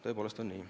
Tõepoolest on nii.